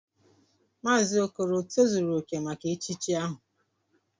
Mazi okoro o tozuru oke maka echichi ahu?